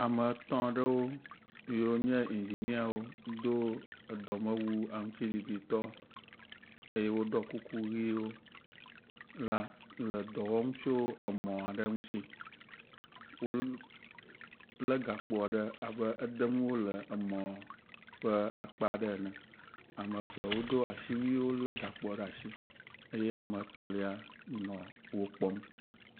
Ame etɔ̃ ɖewo yiwo nye indziniawo do edɔmewu aŋutiɖiɖitɔ eye woɖɔ kuku ʋɛ̃wo la le dɔ wɔm tso emɔ aɖe ŋuti. Wolé gakpo aɖe abe edem wole emɔ ƒe akpa ɖe ene. Ame eve wodo asiwuiwo, lé gakpo aɖewo ɖe asi eye ame etɔ̃lia nɔ wo kpɔm.